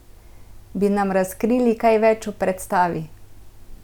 Bi nam razkrili kaj več o predstavi?